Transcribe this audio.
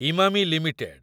Emami limited